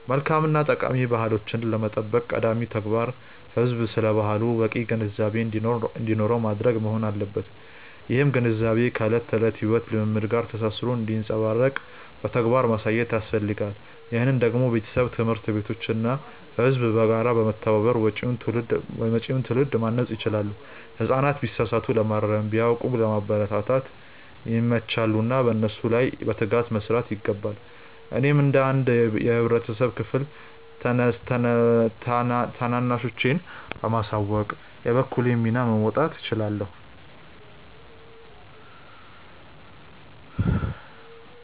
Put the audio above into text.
መልካም እና ጠቃሚ ባህሎቻችንን ለመጠበቅ ቀዳሚው ተግባር ህዝቡ ስለ ባህሉ በቂ ግንዛቤ እንዲኖረው ማድረግ መሆን አለበት። ይህም ግንዛቤ ከዕለት ተዕለት የሕይወት ልምምድ ጋር ተሳስሮ እንዲንጸባረቅ በተግባር ማሳየት ያስፈልጋል። ይህንን ደግሞ ቤተሰብ፣ ትምህርት ቤቶች እና ህዝቡ በጋራ በመተባበር መጪውን ትውልድ ማነጽ ይችላሉ። ህጻናት ቢሳሳቱ ለማረም፣ ቢያውቁም ለማበረታታት ይመቻሉና በእነሱ ላይ በትጋት መስራት ይገባል። እኔም እንደ አንድ የህብረተሰብ ክፍል ታናናሾቼን በማሳወቅ የበኩሌን ሚና መወጣት እችላለሁ።